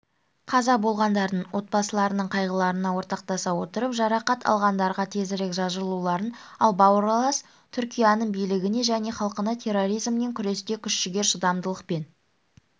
қаза болғандардың отбасыларының қайғыларына ортақтаса отырып жарақат алғандарға тезірек жазылуларын ал бауырлас түркияның билігіне және халқына терроризммен күресте күш-жігер шыдамдылық пен